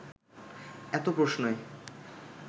এত প্রশ্নে